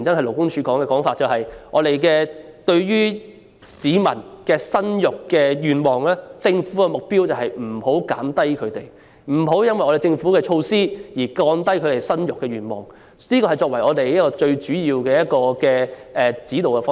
勞工處過去的說法是，對於市民生育子女的意欲，政府的目標是不讓其下降，亦即避免因政府的措施而降低市民生育子女的意欲，這是最主要的指導方針。